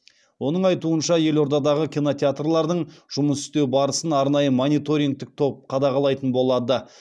оның айтуынша елордадағы кинотеатрлардың жұмыс істеу барысын арнайы мониторингтік топ қадағалайтын болады